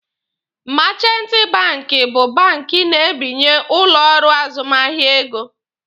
Meechanti banki bụ bank na-ebinye ụlọ ọrụ azụmahịa ego.